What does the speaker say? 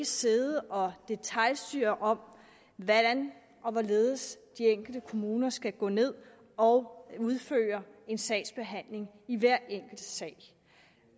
sidde og detailstyre hvordan og hvorledes de enkelte kommuner skal gå ned og udføre en sagsbehandling i hver enkelt sag